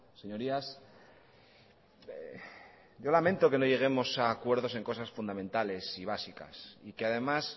señorías yo lamento que no lleguemos a acuerdos en cosas fundamentales y básicas y que además